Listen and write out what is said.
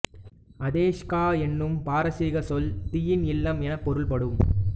அதேஷ்கா எனும் பாரசீகச் சொல் தீயின் இல்லம் எனப் பொருள்படும்